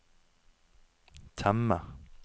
temme